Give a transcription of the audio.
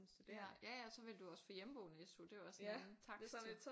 Ja ja ja og så ville du også få hjemmeboende SU det er også en anden takst